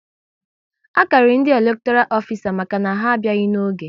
A karịrị ndị elektoral ofisa maka na ha abịaghị n'oge